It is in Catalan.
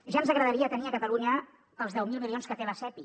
ja ens agradaria tenir a catalunya els deu mil milions que té la sepi